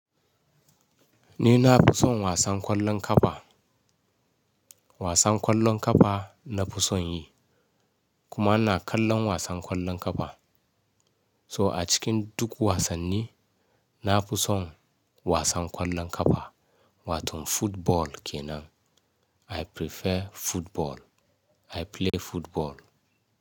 Ni na fi son wasan ƙwallon ƙafa. Wasan ƙwallon ƙafa na fi son yi, kuma ina kallon wasan ƙwallon ƙafa. So a cikin duk wasanni, na fi son wasan ƙwallon ƙafa wato football kenan. I prefer football, I play football.